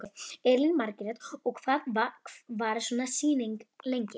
Elín Margrét: Og hvað varir svona sýning lengi?